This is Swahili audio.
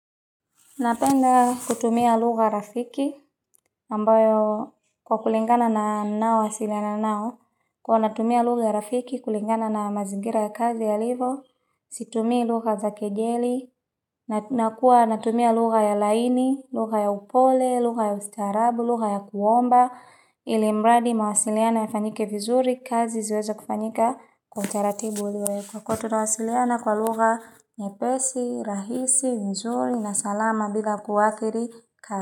Napenda kutumia lugha rafiki, ambayo kwa kulingana na ninaowasiliana nao, kwa natumia lugha rafiki, kulingana na mazingira ya kazi yalivyo, situmi lugha za kejeli, nakuwa natumia lugha ya laini, lugha ya upole, lugha ya ustarabu, lugha ya kuomba, ili miradi mawasiliano yafanyike vizuri, kazi ziweze kufanyika kwa utaratibu. Kwa kuwav tutawasiliana kwa lugha, nyepesi, rahisi, nzuri, na salama bila kuwathiri.